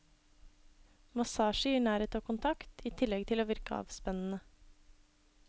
Massasje gir nærhet og kontakt, i tillegg til å virke avspennende.